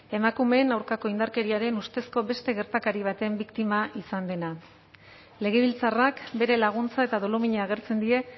emakumeen aurkako indarkeriaren ustezko beste gertakari baten biktima izan dena legebiltzarrak bere laguntza eta dolumina agertzen die